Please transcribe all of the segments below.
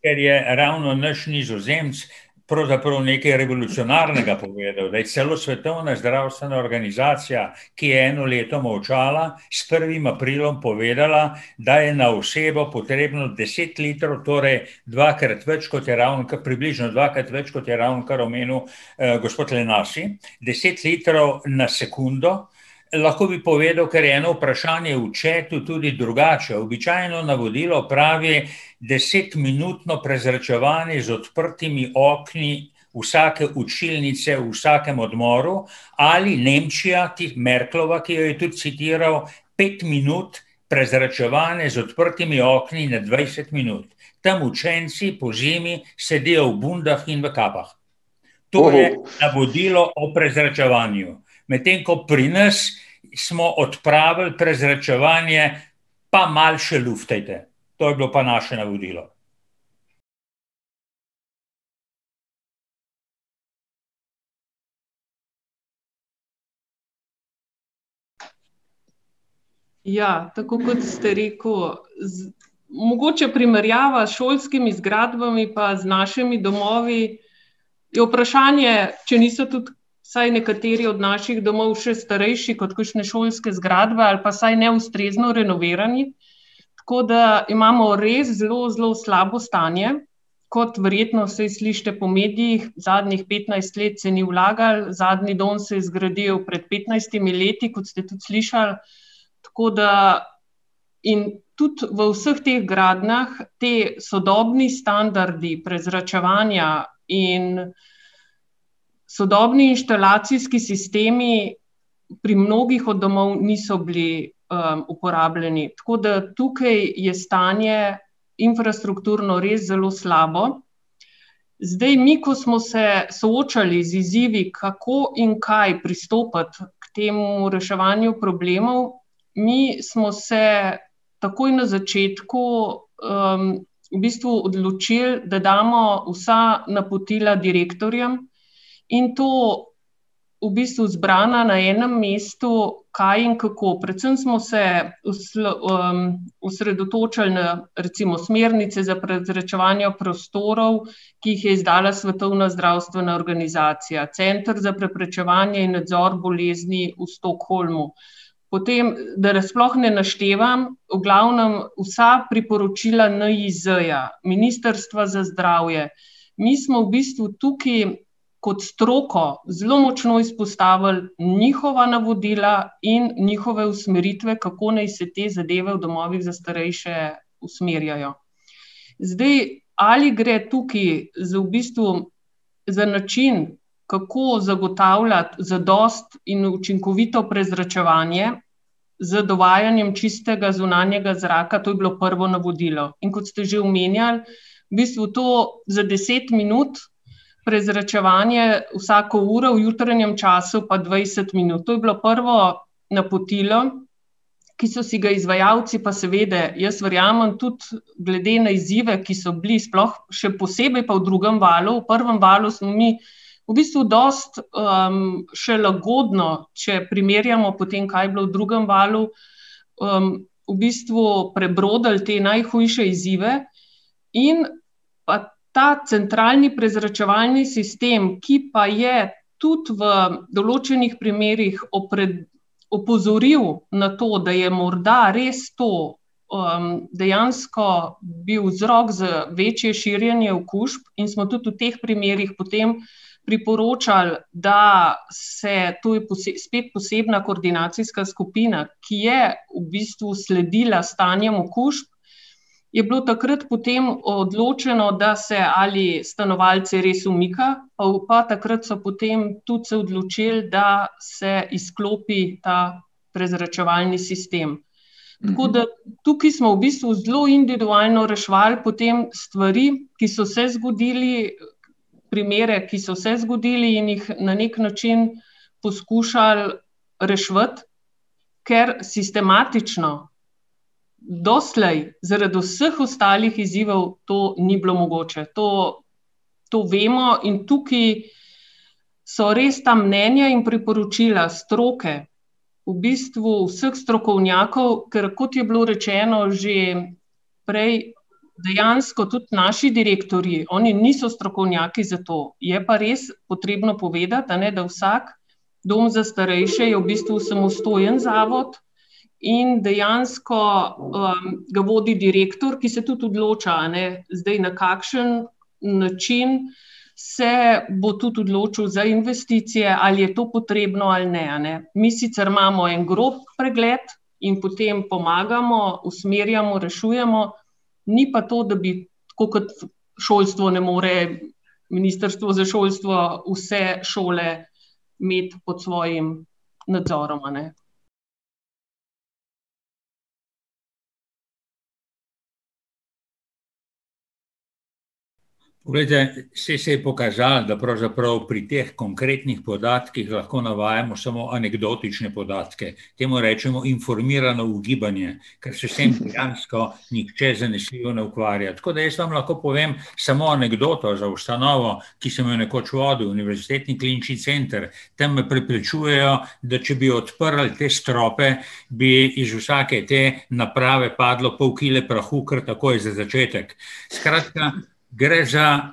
Ker je ravno naš Nizozemec pravzaprav nekaj revolucionarnega povedal, da je celo Svetovna zdravstvena organizacija, ki je eno leto molčala, s prvim aprilom povedala, da je na osebo potrebno deset litrov, torej dvakrat več kot je približno dvakrat več, kot je ravnokar omenil, gospod . Deset litrov na sekundo. Lahko bi povedal, ker je eno vprašanje v chatu, tudi drugače, običajno navodilo pravi, desetminutno prezračevanje z odprtimi okni vsake učilnice v vsakem odmoru, ali Nemčija, ki, Merklova, ki jo je tudi citiral, pet minut prezračevanja z odprtimi okni na dvajset minut. Tam učenci pozimi sedijo v bundah in v kapah. To je navodilo o prezračevanju. Medtem ko pri nas smo odpravili prezračevanje: "Pa malo še luftajte." To je bilo pa naše navodilo. Ja, tako kot ste rekel, mogoče primerjava s šolskimi zgradbami pa z našimi domovi, je vprašanje, če niso tudi vsaj nekateri od naših domov še starejši kot kakšne šolske zgradbe ali pa vsaj neustrezno renovirani, tako da imamo res zelo zelo slabo stanje, kot verjetno, saj slišite po medijih, zadnjih petnajst let se ni vlagalo, zadnji dom se je zgradil pred petnajstimi leti, kot ste tudi slišali. Tako da ... In tudi v vseh teh gradnjah ti sodobni standardi prezračevanja in sodobni inštalacijski sistemi pri mnogih od domov niso bili, uporabljeni, tako da tukaj je stanje infrastrukturno res zelo slabo. Zdaj mi, ko smo se soočali z izzivi, kako in kaj pristopati k temu reševanju problemov, mi smo se takoj na začetku, v bistvu odločili, da damo vsa napotila direktorjem in to v bistvu zbrana na enem mestu, kaj in kako. Predvsem smo se osredotočali na recimo smernice za prezračevanje prostorov, ki jih je izdala Svetovna zdravstvena organizacija, Center za preprečevanje in nadzor bolezni v Stockholmu. Potem, da sploh ne naštevam, v glavnem, vsa priporočila NIJZ-ja, Ministrstva za zdravje, mi smo v bistvu tukaj kot stroko zelo močno izpostavili njihova navodila in njihove usmeritve, kako naj se te zadeve v domovih za starejše usmerjajo. Zdaj, ali gre tukaj za v bistvu, za način, kako zagotavljati zadosti in učinkovito prezračevanje, z dovajanjem čistega zunanjega zraka, to je bilo prvo navodilo, in kot ste že omenjali, v bistvu to za deset minut prezračevanje vsako uro, v jutranjem času pa dvajset minut, to je bilo prvo napotilo, ki so si ga izvajalci pa seveda, jaz verjamem, tudi glede na izzive, ki so bili, sploh, še posebej pa v drugem valu, v prvem valu smo mi v bistvu dosti, še lagodno, če primerjamo potem, kaj je bilo v drugem valu, v bistvu prebrodili te najhujše izzive, in pa ta centralni prezračevalni sistem, ki pa je tudi v določenih primerih opozoril na to, da je morda res to, dejansko bil vzrok za večje širjenje okužb in smo tudi v teh primerih priporočali, da se tuj spet posebna koordinacijska skupina, ki je v bistvu sledila stanjem okužb, je bilo takrat potem odločeno, da se, ali stanovalce res umika, pa pa takrat so potem tudi se odločili, da se izklopi ta prezračevalni sistem. Tako da tukaj smo v bistvu zelo individualno reševali potem stvari, ki so se zgodile, primere, ki so se zgodili, in jih na neki način poskušali reševati, ker sistematično doslej zaradi vseh ostalih izzivov to ni bilo mogoče, to, to vemo in tukaj so res ta mnenja in priporočila stroke, v bistvu vseh strokovnjakov, ker kot je bilo rečeno že prej, dejansko tudi naši direktorji, oni niso strokovnjaki za to, je pa res potrebno povedati, a ne, da vsak dom za starejše je v bistvu samostojen zavod , in dejansko, ga vodi direktor, ki se tudi odloča, a ne, zdaj na kakšen način se bo tudi odločil za investicije, ali je to potrebno ali ne, a ne. Mi sicer imamo en grob pregled in potem pomagamo, usmerjamo, rešujemo, ni pa to, da bi, tako kot šolstvo ne more, Ministrstvo za šolstvo vse šole imeti pod svojim nadzorom, a ne. Poglejte, saj se je pokazalo, da pravzaprav pri teh konkretnih podatkih lahko navajamo samo anekdotične podatke, temu rečemo informirano ugibanje, ker se s tem dejansko nihče zanesljivo ne ukvarja. Tako da jaz vam lahko povem samo anekdoto za ustanovo, ki sem jo nekoč vodil, Univerzitetni klinični center. Tam me prepričujejo, da če bi odprli te strope, bi iz vsake te naprave padlo pol kile prahu kar takoj za začetek. Skratka, gre za ...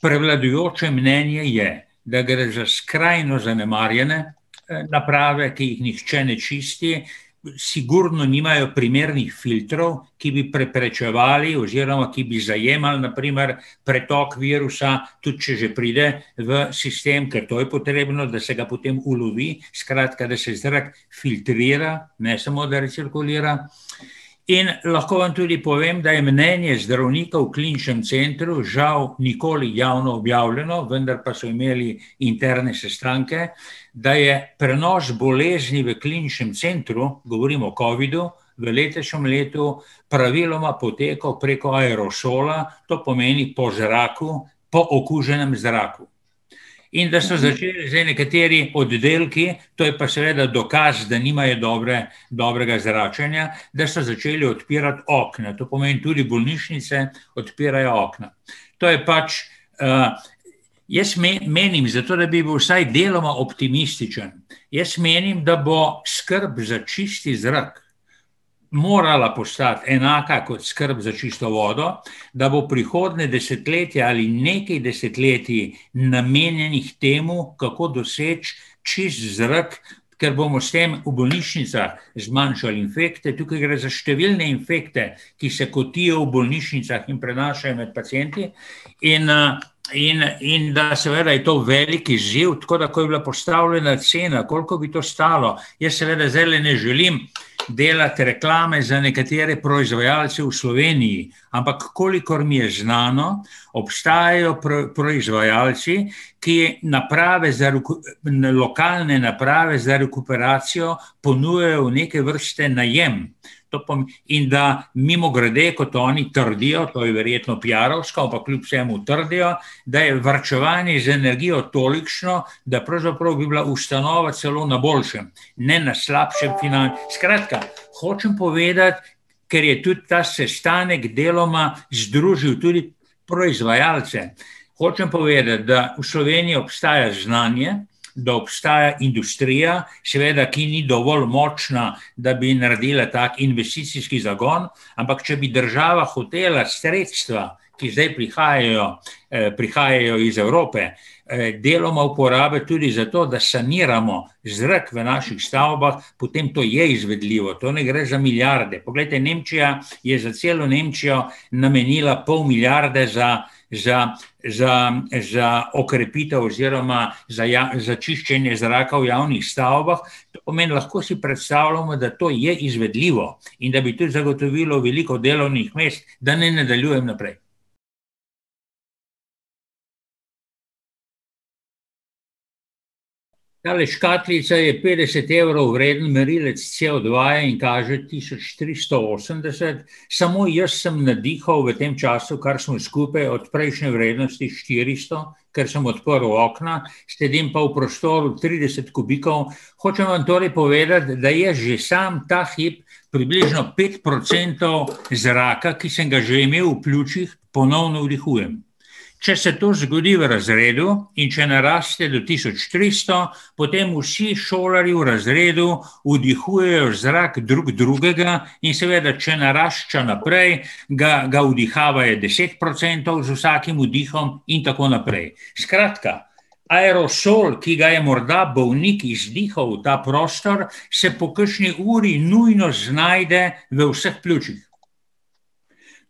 Prevladujoče mnenje je, da gre za skrajno zanemarjene, naprave, ki jih nihče ne čisti, sigurno nimajo primernih filtrov, ki bi preprečevali oziroma ki bi zajemali, na primer, pretok virusa, tudi če že pride v sistem, ker to je potrebno, da se ga potem ulovi, skratka, da se zrak filtrira, ne samo da recirkulira. In lahko vam tudi povem, da je mnenje zdravnikov v Kliničnem centru žal nikoli javno objavljeno, vendar pa so imeli interne sestanke, da je prenos bolezni v Kliničnem centru, govorim o covidu, praviloma potekal preko aerosola, to pomeni po zraku, po okuženem zraku. In da so začeli zdaj nekateri oddelki, to je pa seveda dokaz, da nimajo dobre, dobrega zračenja, da so začeli odpirati okna, to pomeni tudi bolnišnice odpirajo okna. To je pač, ... Jaz menim, zato da bi bil vsaj deloma optimističen, jaz menim, da bo skrb za čist zrak morala postati enaka kot skrb za čisto vodo, da bo prihodnje desetletje ali nekaj desetletij namenjenih temu, kako doseči čist zrak, ker bomo s tem v bolnišnicah zmanjšali infekte, tukaj gre za številne infekte, ki se kotijo v bolnišnicah in prenašajo med pacienti, in, in, in da seveda je to velik izziv, tako da ko je bila postavljena cena, koliko bi to stalo, jaz seveda zdajle ne želim delati reklame za nekatere proizvajalce v Sloveniji, ampak kolikor mi je znano, obstajajo proizvajalci, ki naprave za na lokalne naprave za rekuperacijo ponujajo v neke vrste najem. To in da, mimogrede, kot oni trdijo, to je verjetno piarovsko, ampak kljub vsemu trdijo, da je varčevanje z energijo tolikšno, da pravzaprav bi bila ustanova celo na boljšem, ne na slabšem, ... Skratka, hočem povedati, ker je tudi ta sestanek deloma združil tudi proizvajalce. Hočem povedati, da v Sloveniji obstaja znanje, da obstaja industrija, seveda, ki ni dovolj močna, da bi naredila tak investicijski zagon, ampak če bi država hotela sredstva, ki zdaj prihajajo, prihajajo iz Evrope, deloma uporabiti tudi zato, da saniramo zrak v naših stavbah, potem to je izvedljivo, to ne gre za milijarde, poglejte, Nemčija je za celo Nemčijo namenila pol milijarde za, za, za, za okrepitev oziroma za za čiščenje zraka v javnih stavbah. To pomeni, lahko si predstavljamo, da to je izvedljivo in da bi tudi zagotovilo veliko delovnih mest, da ne nadaljujem naprej. Tale škatlica je petdeset evrov vreden merilec COdva-ja in kaže tisoč tristo osemdeset. Samo jaz sem nadihal v tem času, kar smo skupaj, od prejšnje vrednosti štiristo, ker sem odprl okna, sedim pa v prostoru trideset kubikov. Hočem vam torej povedati, da jaz že samo ta hip približno pet procentov zraka, ki sem ga že imel v pljučih, ponovno vdihujem. Če se to zgodi v razredu in če naraste do tisoč tristo, potem vsi šolarji v razredu vdihujejo zrak drug drugega, in seveda, če narašča naprej, ga, ga vdihavajo deset procentov z vsakim vdihom in tako naprej. Skratka, aerosol, ki ga je morda bolnik izdihal v ta prostor, se po kakšni uri nujno znajde v vseh pljučih.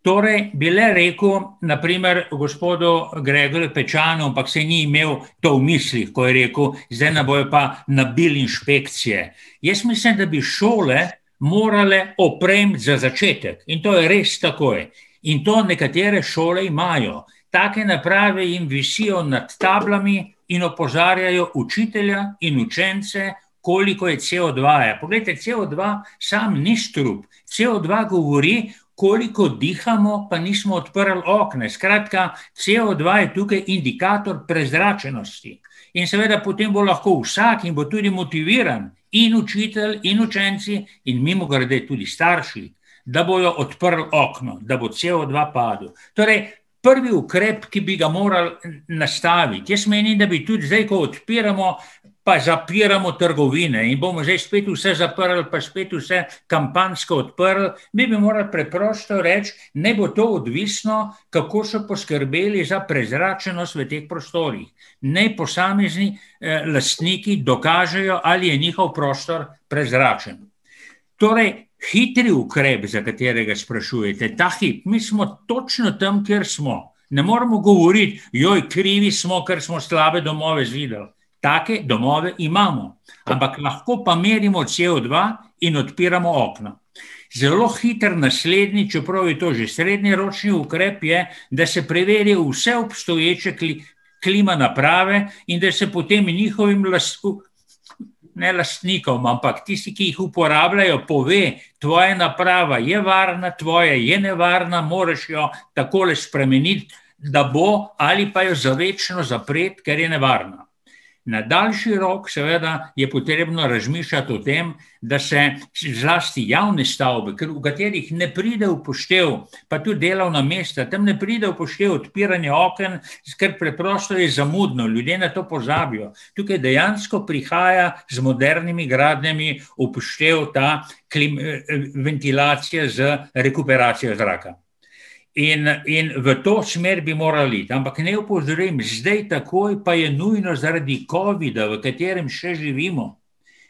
Torej, bi le rekel, na primer, gospodu Gregorju Pečanu, ampak saj ni imel to ni v mislih, ko je rekel: "Zdaj nam bodo pa nabili inšpekcije." Jaz mislim, da bi šole morale opremiti za začetek, in to res takoj, in to nekatere šole imajo, take naprave jim visijo nad tablami in opozarjajo učitelja in učence, koliko je COdva-ja. Poglejte, COdva sam ni strup. COdva govori, koliko dihamo, pa nismo odprli okna, skratka, COdva je tukaj indikator prezračenosti. In seveda, potem bo lahko vsak, in bo tudi motiviran, in učitelj in učenci in, mimogrede, tudi starši, da bojo odprli okno, da bo COdva padel. Torej, prvi ukrep, ki bi ga morali nastaviti, jaz menim, da bi tudi zdaj, ko odpiramo pa zapiramo trgovine, in bomo že spet vse zaprli pa spet vse kampanjsko odprli, mi bi morali preprosto reči, naj bo to odvisno, kako so poskrbeli za prezračenost v teh prostorih. Naj posamezni, lastniki dokažejo, ali je njihov prostor prezračen. Torej, hitri ukrep, za katerega sprašujete ta hip, mi smo točno tam, kjer smo. Ne moremo govoriti: krivi smo, ker smo slabe domove zidali." Take domove imamo. Ampak lahko pa merimo COdva in odpiramo okna. Zelo hiter naslednji, čeprav je to že srednjeročni ukrep, je, da se preveri vse obstoječe klima naprave in da se potem njihovim ne lastnikom, ampak tistim, ki jih uporabljajo, pove: "Tvoja naprava je varna, tvoja je nevarna, moraš jo takole spremeniti, da bo, ali pa jo za večno zapreti, ker je nevarna." Na daljši rok, seveda, je potrebno razmišljati o tem, da se, saj zlasti javne stavbe, ker, v katerih ne pride v poštev, pa tudi delovna mesta, tam ne pride v poštev odpiranje oken, ker preprosto je zamudno, ljudje na to pozabijo. Tukaj dejansko prihaja z modernimi gradnjami v poštev, da ventilacija z rekuperacijo zraka. In, in v to smer bi morali iti, ampak naj opozorim, zdaj takoj pa je nujno zaradi covida, v katerem še živimo,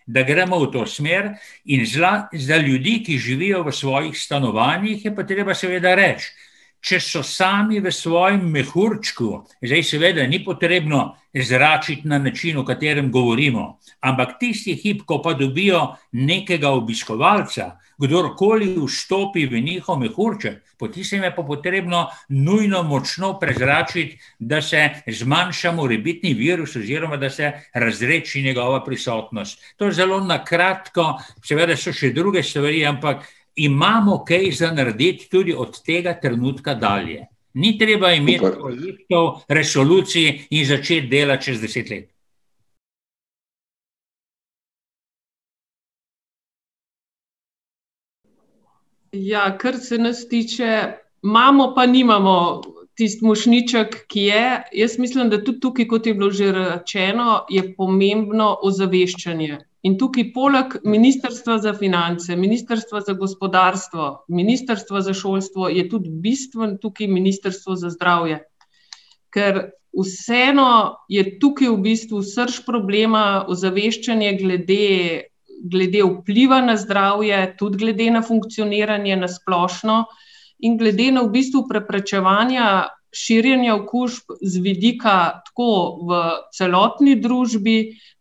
da gremo v to smer, in za ljudi, ki živijo v svojih stanovanjih, je pa treba seveda reči, če so sami v svojem mehurčku, zdaj seveda ni potrebno zračiti na način, o katerem govorimo. Ampak tisti hip, ko pa dobijo nekega obiskovalca, kdorkoli vstopi v njihov mehurček, po tistem je pa potrebno nujno močno prezračiti, da se zmanjša morebitni virus oziroma da se razredči njegova prisotnost. To zelo na kratko, seveda so še druge stvari, ampak imamo kaj za narediti tudi od tega trenutka dalje. Ni treba imeti resolucij in začet delati čez deset let. Ja, kar se nas tiče, imamo pa nimamo tisti mošnjiček, ki je, jaz mislim, da tudi tukaj, kot je bilo že rečeno, je pomembno ozaveščanje. In tukaj poleg Ministrstva za finance, Ministrstva za gospodarstvo, Ministrstva za šolstvo je tudi bistveno tukaj Ministrstvo za zdravje. Ker vseeno je tukaj v bistvu srž problema ozaveščanje glede, glede vpliva na zdravje, tudi glede na funkcioniranje na splošno in glede na v bistvu preprečevanja širjenja okužb z vidika tako v celotni družbi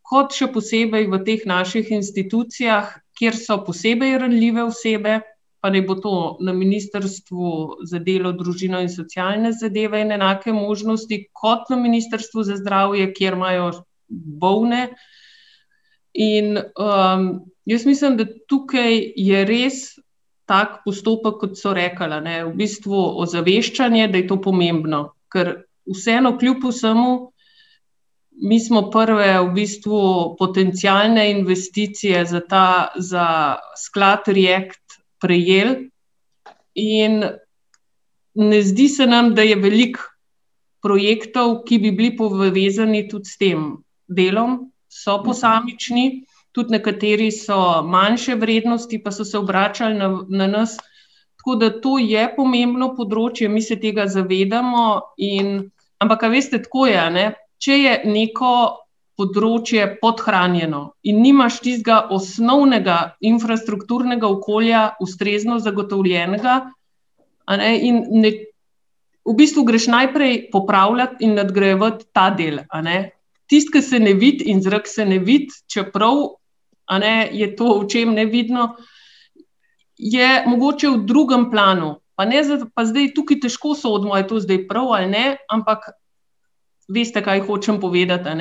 kot, še posebej, v teh naših institucijah, kjer so posebej ranljive osebe, pa naj bo to na Ministrstvu za delo, družino in socialne zadeve in enake možnosti kot na Ministrstvu za zdravje, kjer imajo bolne. In, jaz mislim, da tukaj je res tak postopek, kot so rekli, a ne, v bistvu ozaveščanje, da je to pomembno, ker vseeno kljub vsemu mi so prve v bistvu potencialne investicije za ta, za sklad React prejeli in ne zdi se nam, da je veliko projektov, ki bi bili povezani tudi s tem delom, so posamični, tudi nekateri so manjše vrednosti pa so se obračali na na nas, tako da to je pomembno področje, mi se tega zavedamo in ... Ampak, a veste, tako je, a ne, če je neko področje podhranjeno in nimaš tistega osnovnega infrastrukturnega okolja ustrezno zagotovljenega, a ne, in ne ... V bistvu greš najprej popravljat in nadgrajevat ta del, a ne. Tisti, ki se ne vidi, in zrak se ne vidi, čeprav, a ne, je to očem nevidno, je mogoče v drugem planu, pa ne pa zdaj tukaj težko sodimo, a je to zdaj prav ali ne, ampak veste, kaj hočem povedati, a ne.